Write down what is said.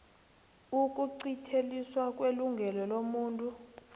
ukuqinteliswa kwelungelo lomuntu